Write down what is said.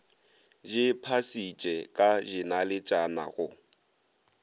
di phasitše ka dinaletšana go